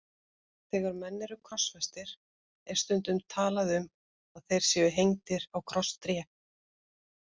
Þegar menn eru krossfestir er stundum talað um að þeir séu hengdir á krosstré.